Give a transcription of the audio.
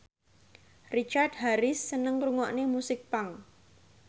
Richard Harris seneng ngrungokne musik punk